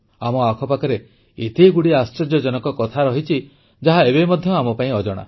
ଆମ ଆଖପାଖରେ ଏତେଗୁଡ଼ିଏ ଆଶ୍ଚର୍ଯ୍ୟଜନକ କଥା ରହିଛି ଯାହା ଏବେ ମଧ୍ୟ ଆମ ପାଇଁ ଅଜଣା